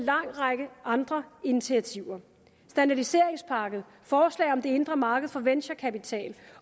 række andre initiativer standardiseringspakke forslag om det indre marked for venture kapital